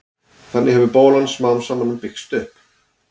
þannig hefur bólan smám saman byggst upp